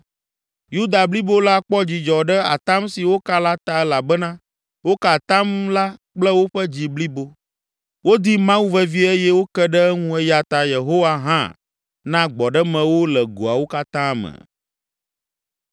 Yuda blibo la kpɔ dzidzɔ ɖe atam si woka la ta elabena woka atam la kple woƒe dzi blibo. Wodi Mawu vevie eye woke ɖe eŋu eya ta Yehowa hã na gbɔɖeme wo le goawo katã me.